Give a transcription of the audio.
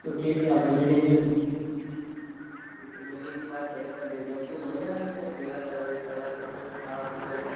તો કેજે આપડે જઈ આવીશું. મમ્મી ને તુ વાત કરી દેજે. આમ કેવુ મજા આવે છે રેવા કરવાની હરવાની ફરવાની ખાવા પીવાની.